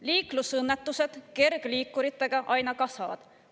Liiklusõnnetused kergliikuritega aina kasvavad.